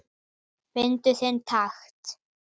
Fyndu þinn takt